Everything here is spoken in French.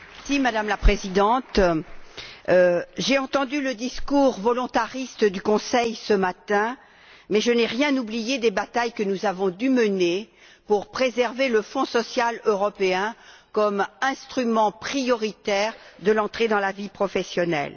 Madame la Présidente, j'ai entendu le discours volontariste du Conseil ce matin, mais je n'ai rien oublié des batailles que nous avons dû mener afin de préserver le Fonds social européen comme instrument prioritaire de l'entrée dans la vie professionnelle.